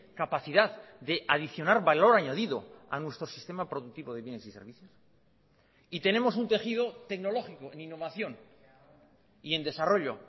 capacidad de adicionar valor añadido a nuestro sistema productivo de bienes y servicios y tenemos un tejido tecnológico en innovación y en desarrollo